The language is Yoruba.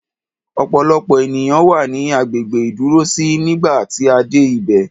Ọ̀pọ̀lọpọ̀ ènìyàn wà ní agbègbè ìdúrósí nígbà tí a dé ibẹ̀.